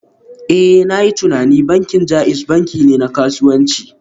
Eh, na yi tunanin bankin JAIZ banki ne na kasuwanci